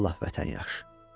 Vallah vətən yaxşı.